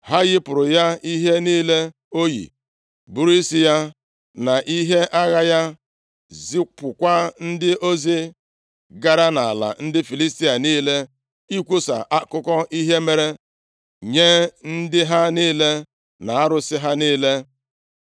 Ha yipụrụ ya ihe niile oyi, buru isi ya na ihe agha ya, zipụkwa ndị ozi gara nʼala ndị Filistia niile ikwusa akụkọ ihe mere nye ndị ha niile na arụsị ha niile.